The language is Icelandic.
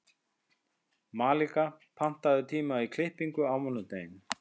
Malika, pantaðu tíma í klippingu á mánudaginn.